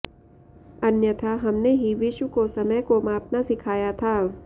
अन्यथा हमने ही विश्व को समय को मापना सिखाया था